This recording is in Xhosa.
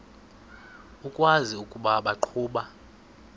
ukwazi ukuba baqhuba